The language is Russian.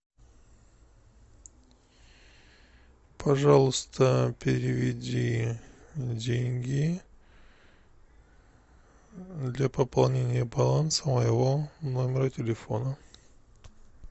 пожалуйста переведи деньги для пополнения баланса моего номера телефона